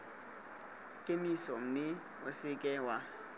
kemiso mme o seke wa